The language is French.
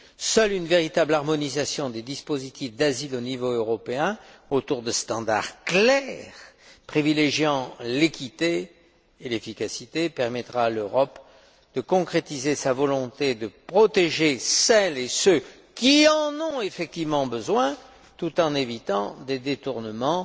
Seule une véritable harmonisation des dispositifs d'asile au niveau européen autour de standards clairs privilégiant l'équité et l'efficacité permettra à l'Europe de concrétiser sa volonté de protéger celles et ceux qui en ont effectivement besoin, tout en évitant des détournements